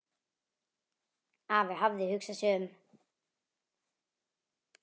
Afi hafði hugsað sig um.